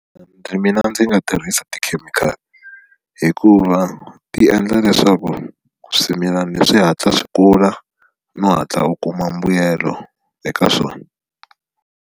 mina ndzi nga tirhisa tikhemikhali hikuva ti endla leswaku swimilani swi hatla swi kula no hatla u kuma mbuyelo eka swona.